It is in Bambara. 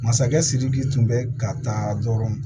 Masakɛ sidiki tun bɛ ka taa dɔrɔn